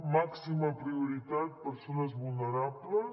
màxima prioritat persones vulnerables